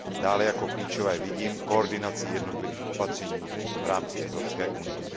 Dále jako klíčové vidím koordinaci jednotlivých opatření v rámce Evropské unie.